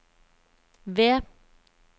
V